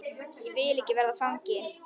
Ég vil ekki verða fangi.